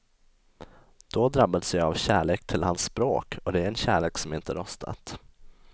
Då drabbades jag av kärlek till hans språk och det är en kärlek som inte rostat.